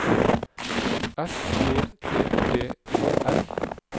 S E T T E R